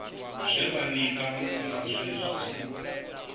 zwe vha ṋekana ngazwo zwi